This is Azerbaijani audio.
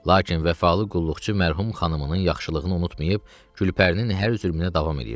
Lakin vəfalı qulluqçu mərhum xanımının yaxşılığını unutmayıb Gülpərinin hər zülmünə davam eləyirdi.